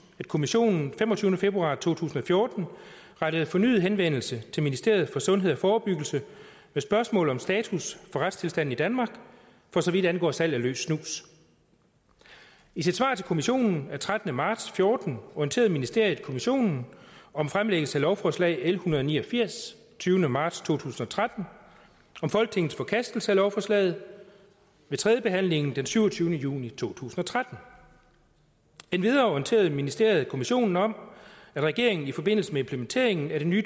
at kommissionen den femogtyvende februar to tusind og fjorten rettede fornyet henvendelse til ministeriet for sundhed og forebyggelse med spørgsmål om status for retstilstanden i danmark for så vidt angår salg af løs snus i sit svar til kommissionen den trettende marts fjorten orienterede ministeriet kommissionen om fremlæggelse af lovforslag l en hundrede og ni og firs tyvende marts to tusind og tretten og om folketingets forkastelse af lovforslaget ved tredje behandlingen den syvogtyvende juni to tusind og tretten endvidere orienterede ministeriet kommissionen om at regeringen i forbindelse med implementeringen af det nye